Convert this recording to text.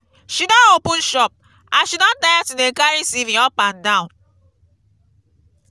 she don open shop as she don tire to dey carry cv up and down.